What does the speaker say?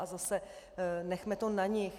A zase nechme to na nich.